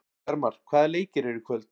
Bjarmar, hvaða leikir eru í kvöld?